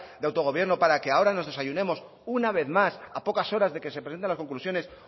de autogobierno para que ahora nos desayunemos una vez más a pocas horas de que se presenten las conclusiones